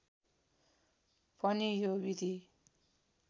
पनि यो विधि